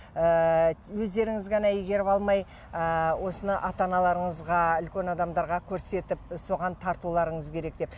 ыыы өздеріңіз ғана игеріп алмай ы осыны ата аналарыңызға үлкен адамдарға көрсетіп соған тартуларыңыз керек деп